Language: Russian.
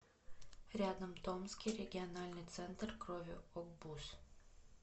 рядом томский региональный центр крови огбуз